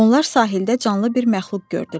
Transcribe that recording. Onlar sahildə canlı bir məxluq gördülər.